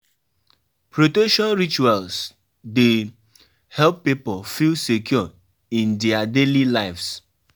Di most important thing na to get budget um of how much you wan spend